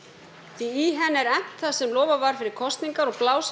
því í henni er efnt það sem lofað var fyrir kosningar og blásið